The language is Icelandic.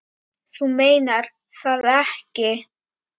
Þú meinar það ekki.